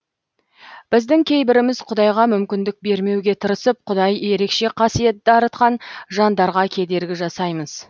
біздің кейбіріміз құдайға мүмкіндік бермеуге тырысып құдай ерекше қасиет дарытқан жандарға кедергі жасаймыз